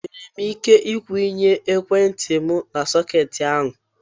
Enwere m ike ikwụnye ekwentị m na sọketi ahụ.